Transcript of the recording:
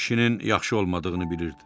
Kişinin yaxşı olmadığını bilirdi.